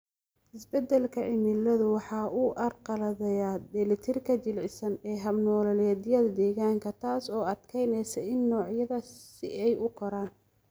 Isbeddelka cimiladu waxa uu carqaladeeyaa dheellitirka jilicsan ee hab-nololeedyada deegaanka, taas oo adkeynaysa in noocyada si ay u koraan.